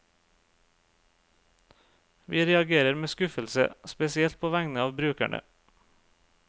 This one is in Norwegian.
Vi reagerer med skuffelse, spesielt på vegne av brukerne.